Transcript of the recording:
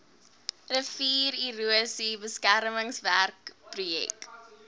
riviererosie beskermingswerke projek